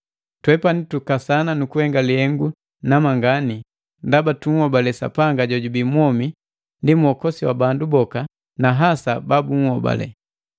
Twepani tukasana nukuhenga lihengu namangani ndaba tunhobale Sapanga jojubii mwomi ndi Mwokosi wa bandu boka, na hasa bala ba bunhobale.